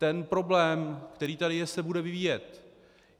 Ten problém, který tady je, se bude vyvíjet.